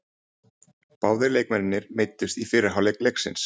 Báðir leikmennirnir meiddust í fyrri hálfleik leiksins.